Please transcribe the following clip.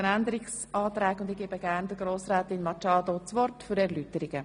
Ich gebe ihr gerne das Wort für Erläuterungen.